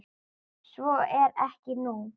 Svo er ekki nú.